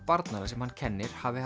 barnanna sem hann kennir hafi